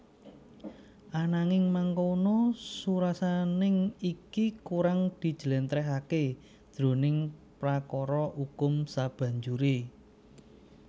Ananging mangkono surasaning iki kurang dijlèntrèhaké jroning prakara ukum sabanjuré